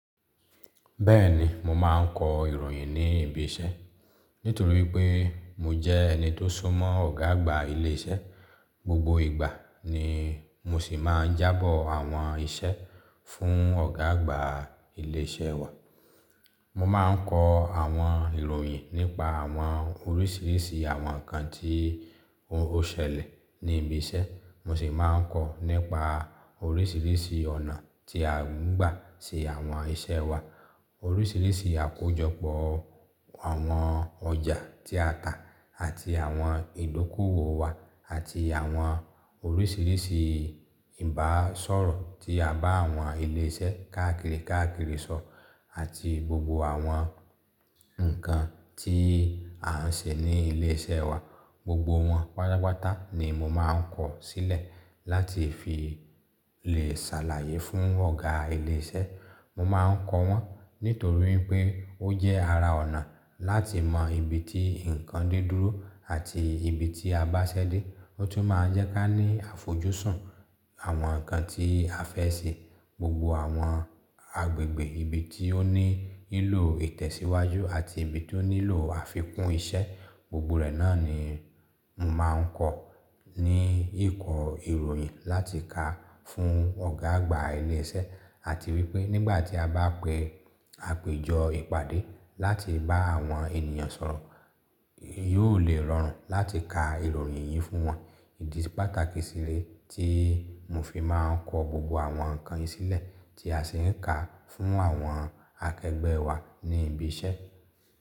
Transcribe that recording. Bẹ́ẹ̀ni mo máa ń kọ ìròyìn ní ibi iṣẹ́. Nítorí pé mo jẹ́ ẹni tó súnmọ́ ọ̀gá àgbà ilé iṣẹ́, gbogbo ìgbà ni mo sì máa ń jábọ̀ àwọn iṣẹ́ fún ọ̀gá àgbà ilé iṣẹ́ wa. Mo máa ń kọ àwọn ìròyìn nípa àwọn oríṣiríṣi àwọn nǹkan tí ó ṣẹlẹ̀ ní ibi iṣẹ́, mo sì máa ń kọ nípa oríṣiríṣi ọ̀nà tí a ń gbà ṣe àwọn iṣẹ́ wa, oríṣiríṣi àkójọpọ̀ àwọn ọjà tí a tà àti àwọn ìdókòwò wa àti àwọn oríṣiríṣi ìbá sọ̀rọ̀ tí a bá àwọn ilé iṣẹ́ káàkiri káàkiri sọ àti gbogbo àwọn nǹkan tí a ń ṣe ní ilé iṣẹ́ wa. Gbogbo wọn pátápátá ni mo máa n ko sílẹ̀ látí fi le sàlàyé fun ọgá ilè iṣẹ. Mo máa ń kọ wọ́n nítorí pé ó jẹ́ ara ọ̀nà láti mọ ibi tí nǹkan de dúró àti ibi tí a bá ṣẹ́dé, ó tún máa ń jẹ́ kí a ní àfojúsùn àwọn nǹkan tí a fẹ́ ṣe. Gbogbo àwọn agbègbè ibi tí ó ní ílò ìtẹ̀síwájú àti ibi tí ó nílò àfikún iṣẹ́, gbogbo rẹ̀ náà ni mo máa ń kọ ní ìkọ ìròyìn láti kà fún ọ̀gá àgbà ilé iṣẹ́. Àti wípé nígbà tí a bá pẹ àpéjọ ìpàdé láti bá àwọn ènìyàn sọ̀rọ̀, yó ò lè rọrùn láti ka ìròyìn yìí fún wọn. Idì pátákì sílẹ̀ tí mo fi máa ń kọ gbogbo àwọn nǹkan yìí sílẹ̀ tí a sì ń kà á fún àwọn akẹgbẹ́ wa ní ibi iṣẹ́.